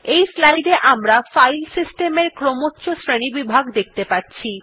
এই স্লাইড এ আমরা ফাইল সিস্টেমের ক্রমোচ্চ শ্রেণীবিভাগ দেখতে পাচ্ছি